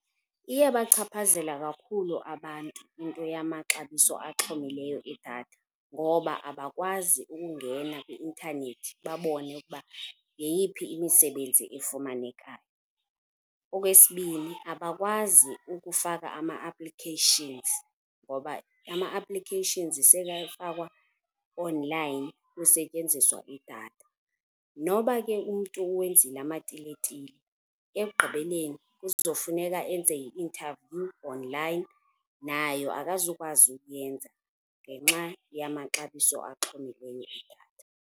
Iyabachaphazela kakhulu abantu into yamaxabiso axhomileyo edatha ngoba abakwazi ukungena kwi-intanethi babone ukuba yeyiphi imisebenzi efumanekayo. Okwesibini, abakwazi ukufaka ama-applications ngoba ama-applications sekafakwa-online kusetyenziswa idatha. Noba ke umntu uwenzile amatiletile ekugqibeleni uzofuneka enze i-interview onlayini, nayo akazukwazi ukuyenza ngenxa yamaxabiso axhomileyo edatha.